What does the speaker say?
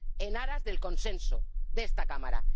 para el consenso de esta Cámara.